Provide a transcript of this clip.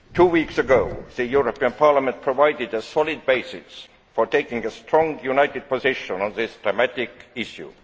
Two weeks ago Parliament provided a solid basis for taking a strong, united position on this dramatic issue.